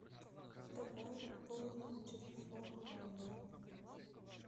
давай пополним телефон мамы